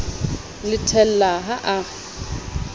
le thella ha a re